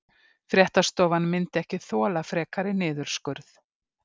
Fréttastofan myndi ekki þola frekari niðurskurð